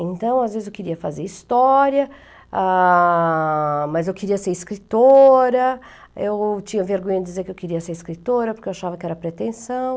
Então, às vezes eu queria fazer história, ah, mas eu queria ser escritora, eu tinha vergonha de dizer que eu queria ser escritora, porque eu achava que era pretensão.